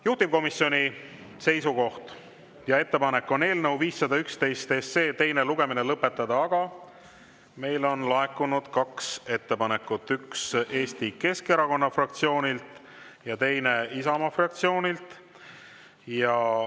Juhtivkomisjoni seisukoht on eelnõu 511 teine lugemine lõpetada, aga meile on laekunud kaks ettepanekut: üks Eesti Keskerakonna fraktsioonilt ja teine Isamaa fraktsioonilt.